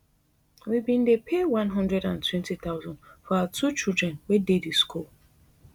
we bin dey pay one hundred and twenty thousand for our two children wey dey di school